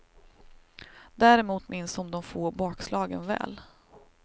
Däremot minns hon de få bakslagen väl.